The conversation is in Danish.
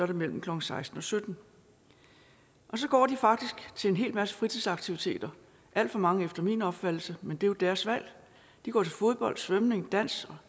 det mellem klokken seksten og syttende så går de faktisk til en hel masse fritidsaktiviteter alt for mange efter min opfattelse men det er jo deres valg de går til fodbold svømning dans